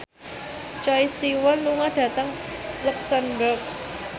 Choi Siwon lunga dhateng luxemburg